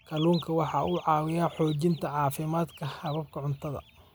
Kalluunku waxa uu caawiyaa xoojinta caafimaadka hababka cuntada.